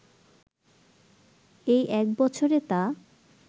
এই এক বছরে তা